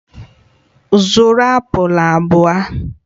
Zụrụ apụl abụọ!